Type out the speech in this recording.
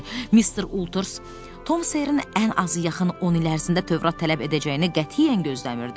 Mr. Ulters Tom Seerin ən azı yaxın 10 il ərzində Tövrat tələb edəcəyini qətiyyən gözləmirdi.